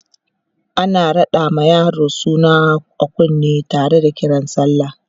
ana raɗa ma yaro suna a kunne Tara da Kiran sallah